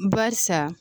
Barisa